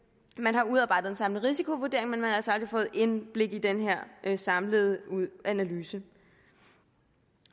man har udarbejdet en samlet risikovurdering men man har altså aldrig fået indblik i den her samlede analyse